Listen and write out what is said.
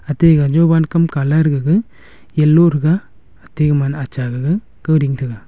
ate ga jovan kam colour gaga yellow thaga ati man acha gaga kao ding taiga.